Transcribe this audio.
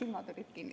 Silmad olid kinni.